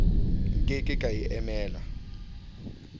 nke ke ka e emela